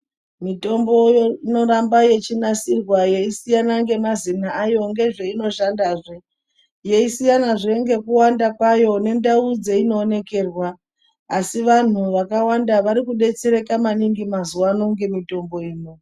Mitombo inoramba yechinasirwa yeisiyana ngemazina ayo ngezveinoshandazve. Yeisiyanazve ngekuwanda kwayo nendau dzeinoonekerwa asi vanhu vakawanda varikudetsereka maningi mazuwano ngemitombo ino.